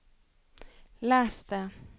les det